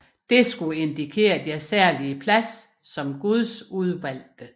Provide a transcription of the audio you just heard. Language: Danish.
Det skulle indikere deres særlige plads som guds udvalgte